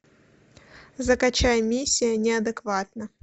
закачай миссия неадекватна